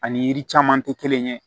Ani yiri caman tɛ kelen ye